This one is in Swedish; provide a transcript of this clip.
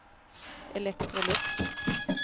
Electrolux